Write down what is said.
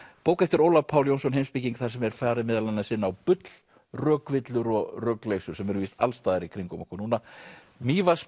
bók eftir Ólaf Pál Jónsson heimspeking þar sem er farið meðal annars inn á bull rökvillur og rugl sem er víst alls staðar í kringum okkur núna